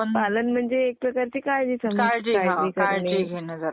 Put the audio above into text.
पालन म्हणजे त्याची काळजी घेण. ping conversation